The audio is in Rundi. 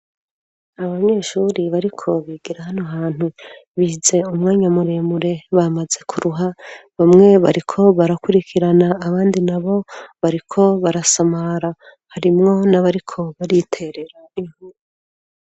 Abanyeshure bariko bigira hano hantu, bize umwanya muremure bamaze kuruha, bamwe bariko barakurikirana abandi na bo bariko barasamara. Harimwo n'abariko bariterera inkuru.